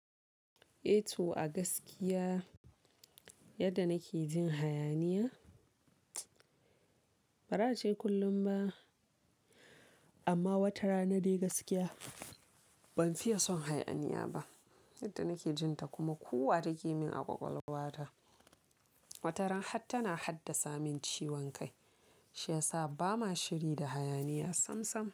Eh to a gaskiya yadda nake jin hayaniya ba ra ace kullum ba amma wata rana dai gaskiya ban fiye son hayaniya ba. Yadda nake jin ta kuma kuwwa take min a ƙwaƙwalwa ta. Wata ran har tana haddasa min ciwon kai shi yasa ba mua shiri da hayaniya samsam.